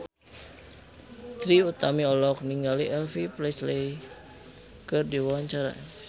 Trie Utami olohok ningali Elvis Presley keur diwawancara